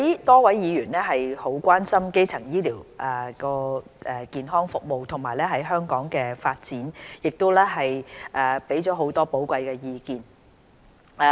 多位議員很關心基層醫療健康服務及其在香港的發展，並提出了很多寶貴意見。